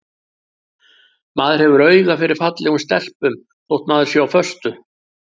Maður hefur auga fyrir fallegum stelpum þótt maður sé á föstu.